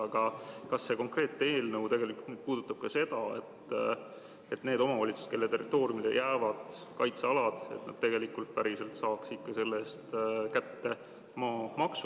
Aga kas see konkreetne eelnõu puudutab ka seda, et need omavalitsused, kelle territooriumile jäävad kaitsealad, saaksid ikka päriselt selle eest maamaksu kätte?